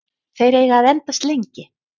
Þeir eiga að endast lengi.